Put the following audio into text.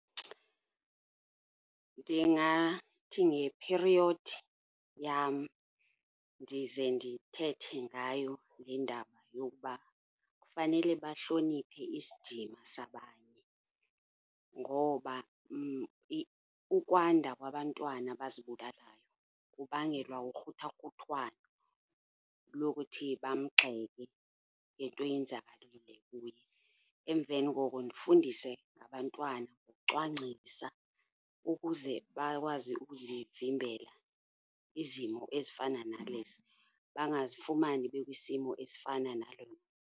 Ndingathi ngephiriyodi yam ndize ndithethe ngayo le ndaba yokuba kufanele bahloniphe isidima sabanye, ngoba ukwanda kwabantwana abazibulalayo kubangelwa ukruthakruthwano lokuthi bamgxeke ngento eyenzakalile kuye. Emveni koko ndifundise ngabantwana, ukucwangcisa ukuze bakwazi ukuzivimbela izimo ezifana nalezi, bangazifumani bekwisimo esifana nalo.